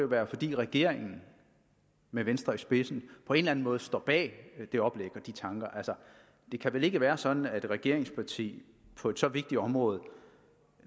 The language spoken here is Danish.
være fordi regeringen med venstre i spidsen på en eller en måde står bag det oplæg og de tanker det kan vel ikke være sådan at et regeringsparti på et så vigtigt område